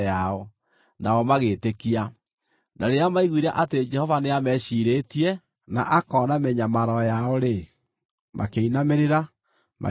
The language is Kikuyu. nao magĩĩtĩkia. Na rĩrĩa maiguire atĩ Jehova nĩameciirĩtie na akona mĩnyamaro yao-rĩ, makĩinamĩrĩra, magĩthathaiya.